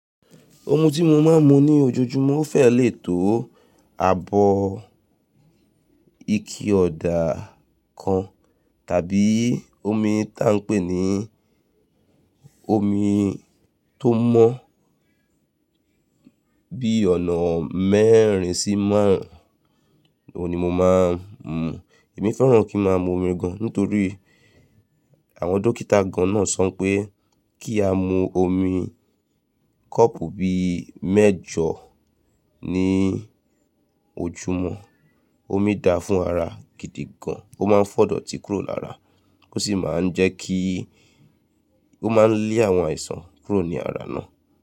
Omi tí mo máa ń mu ní ojoojúmọ́ fẹ́ lè tó abọ́ ike ọ̀dà kan tàbí omi tí a ń pè ní omi tó mọ́ bí ọ̀nà mẹ́rin sí márùn ún ni mo máa ń mu. Èmi fẹ́ràn kí ń má a mu omi gan nítorí àwọn dókítà gan náà sọ pé kí a mu omi kọ́ọ̀pù bí mẹ́jọ ní ojúmọ́. Omi da fún ara gidi gan, ó máa ń fọ̀dọ̀ti kúrò lára, ó sì máa ń jẹ́ kí ó má a lé àwọn àìsàn kúrò ní ara náà.